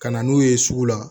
Ka na n'u ye sugu la